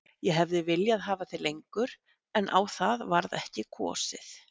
Ég hefði viljað hafa þig lengur en á það varð ekki kosið.